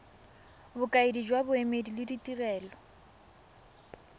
bokaedi jwa boemedi le ditirelo